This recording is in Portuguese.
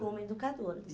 Como educadora.